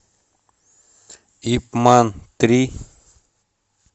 ип ман три